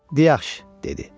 Deyə, yaxşı dedi.